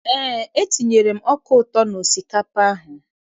Eé, etinyere m ọka ụtọ n'osikapa a.